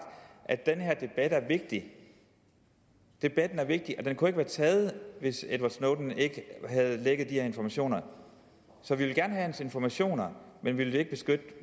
at den her debat er vigtig debatten er vigtig og den kunne været taget hvis edward snowden ikke havde lækket de her informationer så vi vil gerne have hans informationer men vi vil ikke beskytte